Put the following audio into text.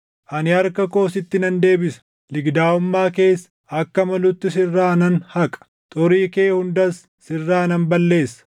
Ani harka koo sitti nan deebisa; ligidaaʼummaa kees akka malutti sirraa nan haqa; xurii kee hundas sirraa nan balleessa.